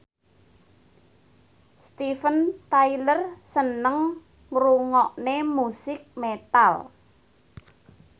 Steven Tyler seneng ngrungokne musik metal